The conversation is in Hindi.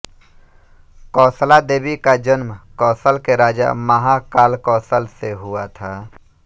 कौशला देवी का जन्म कौशल के राजा महाकालकौशल से हुआ था